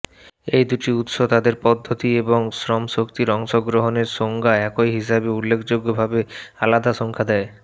এই দুটি উৎস তাদের পদ্ধতি এবং শ্রমশক্তির অংশগ্রহণের সংজ্ঞা একই হিসাবে উল্লেখযোগ্যভাবে আলাদা সংখ্যা দেয়